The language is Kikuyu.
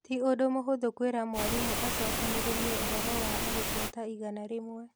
Ti ũndũ mũhũthũ kwĩra mwarimũ acokanĩrĩrie ũhoro wa arutwo ta igana rĩmwe.